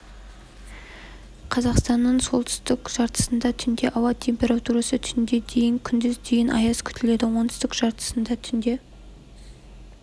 қазақстанның солтүстік жартысында түнде ауа температурасы түнде дейін күндіз дейін аяз күтіледі оңтүстік жартысында түнде